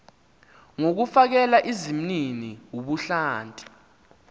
ngokufakela izimnini ubuhlanti